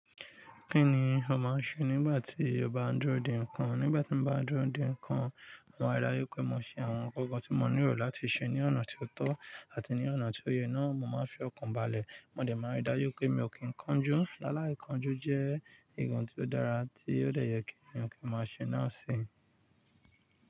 Kí ni o máa ń ṣe nígbà tí o bá n dúró de nǹkan? Nígbà tí mo bá dúró de nǹkan, mo máa dá rí daju pé mo ṣe àwọn ńkan tí mo ní rò láti ṣe ní ọ̀nà tí ó tọ́ àti ní ọ̀nà tí ó yẹ. Náà mo máa fi ọkàn balẹ̀. Mo dẹ̀ máa rí dá jù pé mi ò kí n kánjú. Láláì kanjú jẹ́ nǹkan tí ó dára tí ó dẹ̀ yẹ kí ènìyàn kí máa ṣe. Náà sì ń.